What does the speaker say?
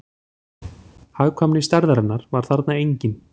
Hagkvæmni stærðarinnar var þarna engin